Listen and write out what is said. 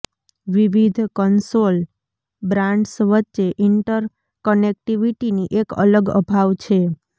વિવિધ console brands વચ્ચે ઇન્ટર કનેક્ટિવિટીની એક અલગ અભાવ છે